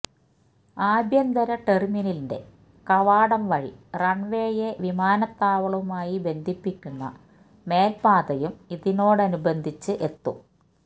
ആഭ്യന്തര ടെർമിനലിന്റെ കവാടം വഴി റൺവേയെ വിമാനതാവളവുമായി ബന്ധിപ്പിക്കുന്ന മേൽപാതയും ഇതോടനുബന്ധിച്ച് എത്തും